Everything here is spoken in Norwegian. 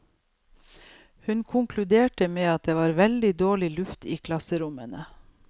Hun konkluderte med at det var veldig dårlig luft i klasserommene.